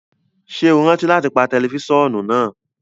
Ṣe o rántí lati pa tẹlifisiọnu naa!?